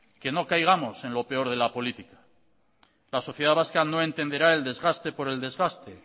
que no caigamos en lo peor de la política la sociedad vasca no entenderá el desgaste por el desgaste